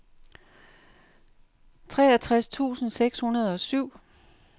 treogtres tusind seks hundrede og syv